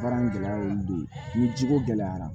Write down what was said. Baara in gɛlɛya y'olu de ye ni ciko gɛlɛyara